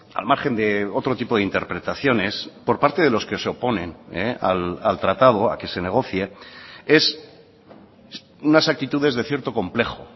al margen de otro tipo de interpretaciones por parte de los que se oponen al tratado a que se negocie es unas actitudes de cierto complejo